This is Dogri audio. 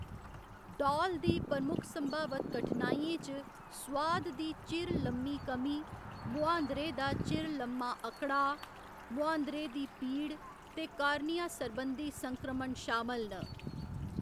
डौल दी प्रमुख संभावत कठनाइयें च सुआद दी चिर लम्मी कमी, मुहांदरे दा चिर लम्मा अकड़ाऽ, मुहांदरे दी पीड़ ते कार्निया सरबंधी संक्रमण शामल न।